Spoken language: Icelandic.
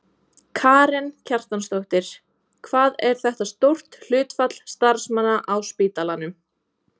Karen Kjartansdóttir: Hvað er þetta stórt hlutfall starfsmanna á spítalanum?